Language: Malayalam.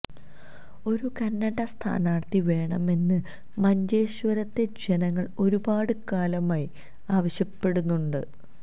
ഒരു കന്നഡ സ്ഥാനാര്ഥി വേണമെന്ന് മഞ്ചേശ്വരത്തെ ജനങ്ങള് ഒരുപാട് കാലമായി ആവശ്യപ്പെടുന്നുണ്ട്